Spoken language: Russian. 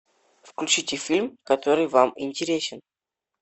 включите фильм который вам интересен